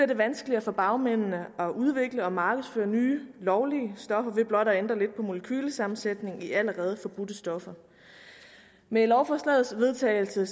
det vanskeligere for bagmændene at udvikle og markedsføre nye lovlige stoffer ved blot at ændre lidt på molekylesammensætningen i allerede forbudte stoffer med lovforslagets vedtagelse